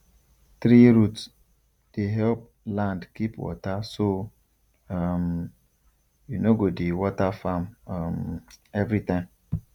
tree root dey help land keep water so um you no go dey water farm um every time